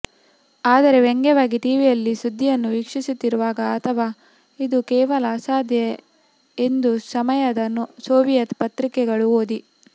ಆದರೆ ವ್ಯಂಗ್ಯವಾಗಿ ಟಿವಿಯಲ್ಲಿ ಸುದ್ದಿಯನ್ನು ವೀಕ್ಷಿಸುತ್ತಿರುವಾಗ ಅಥವಾ ಇದು ಕೇವಲ ಅಸಾಧ್ಯ ಎಂದು ಸಮಯದ ಸೋವಿಯತ್ ಪತ್ರಿಕೆಗಳು ಓದಿ